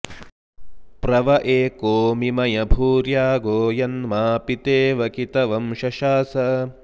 प्र व एको मिमय भूर्यागो यन्मा पितेव कितवं शशास